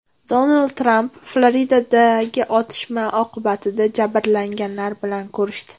Donald Tramp Floridadagi otishma oqibatida jabrlanganlar bilan ko‘rishdi.